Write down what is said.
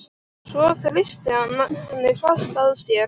Svo þrýstir hann henni fast að sér.